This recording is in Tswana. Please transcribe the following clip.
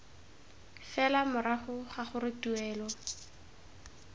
fela morago ga gore tuelo